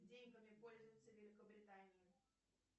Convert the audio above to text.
деньгами пользуются в великобритании